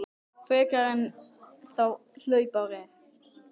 frekar einn þá hlaupár er.